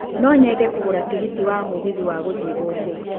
No nyende kũgũra tigiti wa mũgithi wa gũthiĩ gũkũ